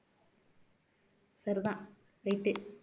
சரிதான் right உ